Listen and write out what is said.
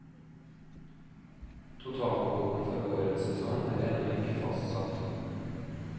Totalkvoten for årets sesong er ennå ikke fastsatt.